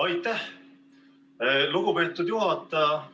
Aitäh, lugupeetud juhataja!